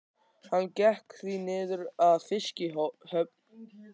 Hann gekk því niður að fiskihöfn.